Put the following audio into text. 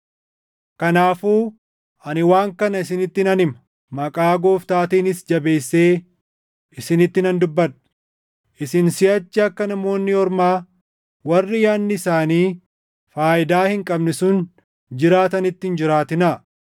Kanaafuu ani waan kana isinitti nan hima; maqaa Gooftaatiinis jabeessee isinitti nan dubbadha; isin siʼachi akka Namoonni Ormaa warri yaadni isaanii faayidaa hin qabne sun jiraatanitti hin jiraatinaa.